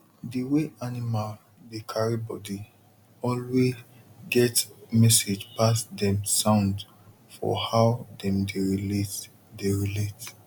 the way animal dey carry body alway get message pass dem sound for how dem dey relate dey relate